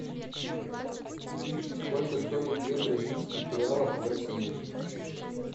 сколько стоит две бразильских реалов в россии